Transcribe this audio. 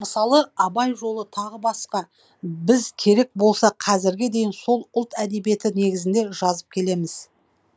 мысалы абай жолы т б біз керек болса қазірге дейін сол ұлт әдебиеті негізінде жазып келеміз